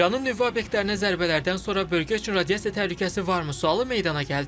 İranın nüvə obyektlərinə zərbələrdən sonra bölgə üçün radiasiya təhlükəsi varmı sualı meydana gəldi.